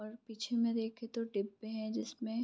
और पीछे में देखे तो टिप्पे हैं जिसमे --